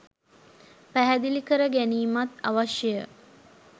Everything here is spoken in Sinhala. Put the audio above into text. පැහැදිලි කර ගැනීමත් අවශ්‍යය.